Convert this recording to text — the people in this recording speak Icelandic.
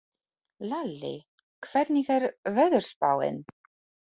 Lalli, hvernig er veðurspáin?